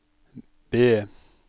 B